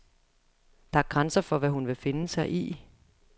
Der er grænser for, hvad hun vil finde sig i.